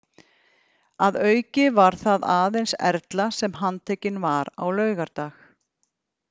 Að auki var það aðeins Erla sem handtekin var á laugardag.